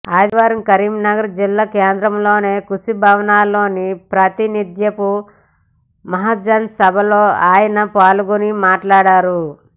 ఆదివారం కరీంనగర్ జిల్లా కేంద్రంలోని కృషి భవన్లో ప్రాతినిథ్యపు మహాజన్ సభలో ఆయన పాల్గొని మాట్లాడారు